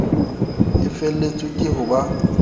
e feletswe ke ho ba